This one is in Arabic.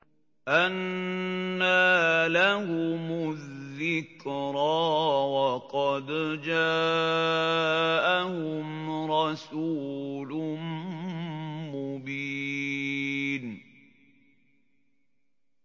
أَنَّىٰ لَهُمُ الذِّكْرَىٰ وَقَدْ جَاءَهُمْ رَسُولٌ مُّبِينٌ